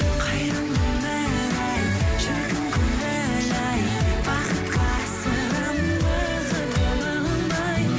қайран өмір ай шіркін көңіл ай бақытқа асығамын уақытқа бағынбай